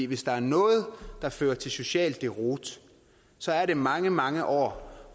hvis der er noget der fører til social deroute så er det mange mange år